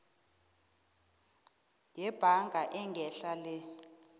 yebhaga engehla le